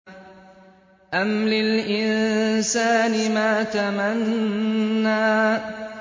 أَمْ لِلْإِنسَانِ مَا تَمَنَّىٰ